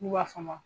N'u b'a f'a ma